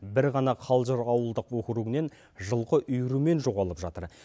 бір ғана қалжыр ауылдық округінен жылқы үйірімен жоғалып жатыр